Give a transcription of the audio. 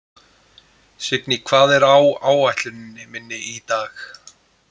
Signý, hvað er á áætluninni minni í dag?